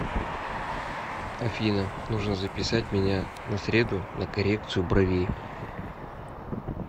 афина нужно записать меня на среду на коррекцию бровей